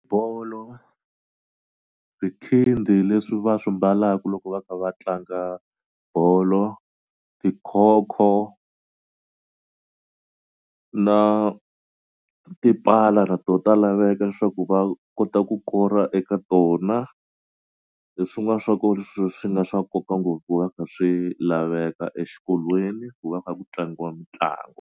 Bolo swikhindi leswi va swi mbalaku loko va kha va tlanga bolo tikhokho na tipala na to ta laveka leswaku va kota ku kora eka tona hi swin'wani swa ko leswi swi nga swa nkoka ngopfu va nga swi laveka exikolweni ku va kha ku tlangiwa mitlangu.